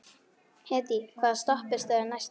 Hedí, hvaða stoppistöð er næst mér?